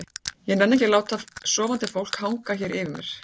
ég nenni ekki að láta sofandi fólk hanga hér yfir mér.